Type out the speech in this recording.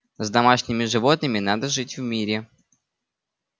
с домашними животными надо жить в мире